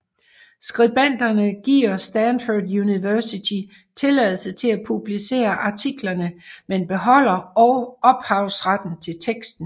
Skribenterne giver Stanford University tilladelse til at publicere artiklerne men beholder ophavsretten til teksten